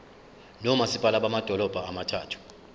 nomasipala bamadolobha abathathu